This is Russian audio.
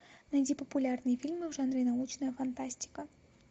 найди популярные фильмы в жанре научная фантастика